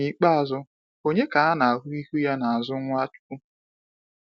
N’ikpeazụ, ònye ka ha na ahụ ihu ya n'azụ Nwachukwu?